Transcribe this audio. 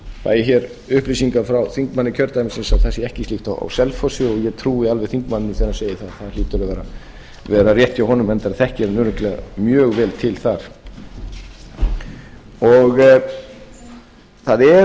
fær ég hér upplýsingar frá þingmanni kjördæmisins að það sé ekki slíkt á selfossi og ég trúi alveg þingmanninum þegar hann segir það það hlýtur að vera rétt hjá honum enda þekkir hann örugglega mjög vel til þar það